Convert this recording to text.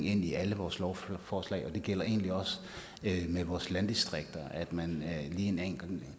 ind i alle vores lovforslag det gælder egentlig også med vores landdistrikter at man lige tænker en